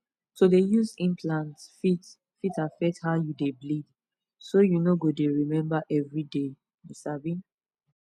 to dey use implants fit fit affect how you dey bleed so you no go dey remember everyday you sabi